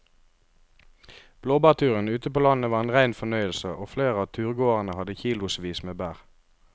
Blåbærturen ute på landet var en rein fornøyelse og flere av turgåerene hadde kilosvis med bær.